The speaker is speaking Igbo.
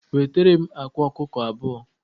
Wetaram akwa ọkụkọ abụọ